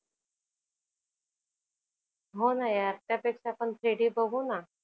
होना यार त्यापेक्षा आपण three D बघूना.